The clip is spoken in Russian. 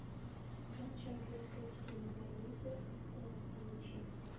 матч английской премьер лиги астон вилла челси